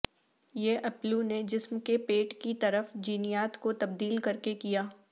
یہ اپلو نے جسم کے پیٹ کی طرف جینیات کو تبدیل کرکے کیا